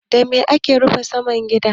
Da me ake rufe saman gida?